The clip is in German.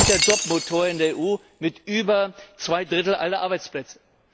Die sind der Jobmotor in der EU mit über zwei Dritteln aller Arbeitsplätze.